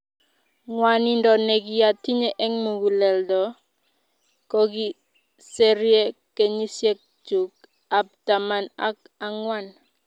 Ng'wanindo nekiatinye eng muguleldo kokiserie kenyisiek chuk ab taman ak ang'wan